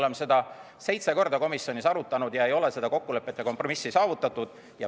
Me oleme seda seitse korda komisjonis arutanud ja ei ole seda kokkulepet ja kompromissi saavutatud.